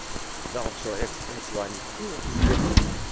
дал человеку пять юаней какой я пиздец